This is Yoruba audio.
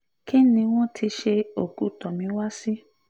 kí ni wọ́n ti ṣe òkú tomiwa sí